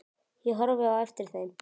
Ég horfði á eftir þeim.